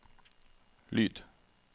lyd